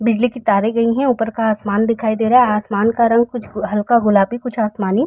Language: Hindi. बिजली के तारे गई है ऊपर का आसमान दिखाई दे रहा है आसमान का रंग कुछ हल्का गुलाबी कुछ आसमानी --